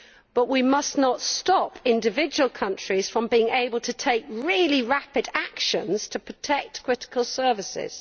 However, we must not stop individual countries from being able to take really rapid action to protect critical services.